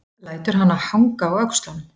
Lætur hana hanga á öxlunum.